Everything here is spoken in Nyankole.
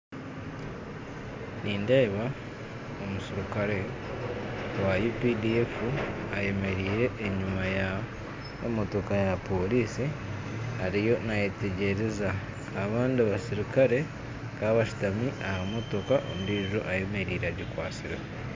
Nindeeba omuserukare wa UPDF ayemereire enyima y'emotoka ya porisi ariyo nayetegyereza, abandi baserukare bakaba bashutami aha motoka ondiijo ayemereire agikwastireho